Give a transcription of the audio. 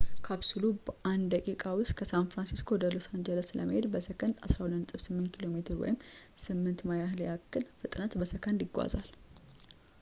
ካፕሱሉ በአንድ ደቂቃ ውስጥ ከሳን ፍራንሲስኮ ወደ ሎስ አንጀለስ ለመሄድ በሰከንድ በ 12.8 ኪ.ሜ ወይም 8 ማይል ያህል ፍጥነት በሰከንድ ይጓዛል